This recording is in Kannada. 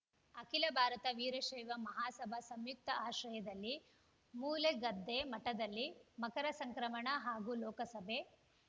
ಅಖಿಲ ಭಾರತ ವೀರಶೈವ ಮಹಾಸಭಾ ಸಂಯುಕ್ತ ಆಶ್ರಯದಲ್ಲಿ ಮೂಲೆಗದ್ದೆ ಮಠದಲ್ಲಿ ಮಕರ ಸಂಕ್ರಮಣ ಹಾಗೂ ಲೋಕಸಭೆ